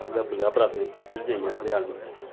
всегда были обратные подтверждения от реальности